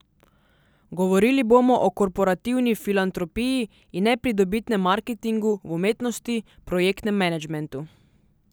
Govorili bomo o korporativni filantropiji in nepridobitnem marketingu v umetnosti, projektnem managementu.